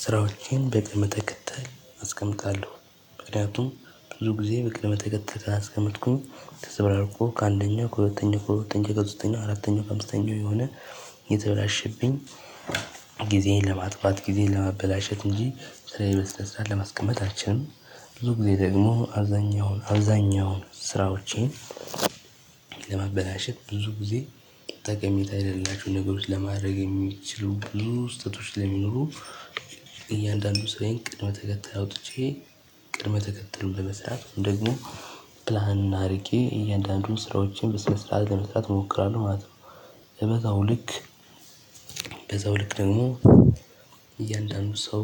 ስራዎቼን በቅድመተከተል አስቀምጣለሁ ምክንያቱም ብዙ ጊዜ በቅድመተከተል ታላስቀመጥኩኝ ተዘበራርቆ ከአንደኛ ከሁለተኛ ከሁለተኛ ከሶስተኛ አራተኛ ከአምስተኛ እየሆነ እየተበላሸብኝ ጊዜን ለማጥፋት ጊዜን ለማበላሸት እንጂ ስራዬን በስነ ለማስቀመጥ አልችልም። ብዙ ጊዜ ደግሞ አብዛኛውን አብዛኛውን ስራዎቼን ለማበላሸት ብዙ ጊዜ ጠቀሜታ የሌላቸውን ነገሮች ለማድረግ የሚችሉ ብዙ ስህተቶች ላይ ስለሚኖሩ እያንዳንዱን ስራዬን ቅድመ ተከተል አውጥቼ ቅድመ ተከተል በመስራት ደግሞ ፕላን አድርጌ እያንዳንዱን ስራዎችን በስነ ስርዓት ለመስራት እሞክራለሁ ማለት ነው። በዛው ልክ በዛው ልክ ደግሞ እያንዳንዱ ሰው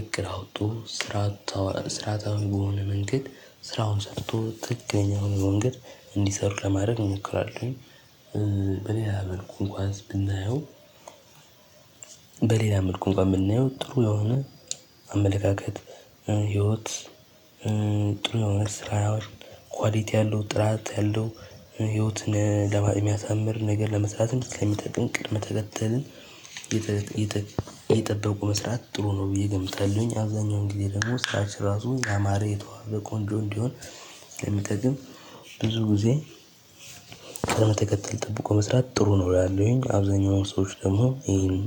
እግር አውቶ ስራታዊ በሆነ ስራታዊ በሆነ መንገድ ስራውን ሰርቶ ትክክለኛውን መንገድ እንዲሰሩ ለማድረግ እንሞክራለሁኝ። በሌላ መልኩ እንኳን ብናየው በሌላ መልኩ እንኳን የምናየው ጥሩ የሆነ አመለካከት ህይወት ጥሩ የሆነ ስራ ኳሊቲ ያለው ጥራት ያለው ህይወትን የሚያሳምር ነገር ለመስራትም ስለሚጠቅም ቅድመ ተከተልን። የጠበቁ መስራት ጥሩ ነው ብዬ ገምታለሁኝ። አብዛኛው ግዜ ደግሞ ስራችን ራሱ ያማረ የተዋበ ቆንጆ እንዲሆን ስለሚጠቅም ብዙ ጊዜ። ቅድመ ተከተል ጠብቆ መስራት ጥሩ ነው እላለሁኝ አብዛኛው ሰዎች ደግሞ ይሄን።